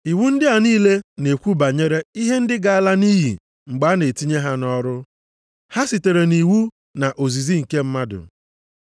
Iwu ndị a niile na-ekwu banyere ihe ndị ga-ala nʼiyi mgbe a na-etinye ha nʼọrụ, ha sitere nʼiwu na ozizi nke mmadụ.